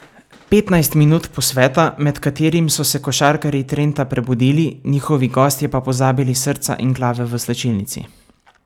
Petnajst minut posveta, med katerim so se košarkarji Trenta prebudili, njihovi gostje pa pozabili srca in glave v slačilnici.